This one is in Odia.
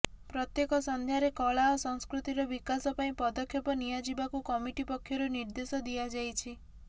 ପ୍ରତ୍ୟେକ ସନ୍ଧ୍ୟାରେ କଳା ଓ ସଂସ୍କୃତିର ବିକାଶ ପାଇଁ ପଦକ୍ଷେପ ନିଆଯିବାକୁ କମିଟି ପକ୍ଷରୁ ନିର୍ଦ୍ଦେଶ ଦିଆଯାଇଛି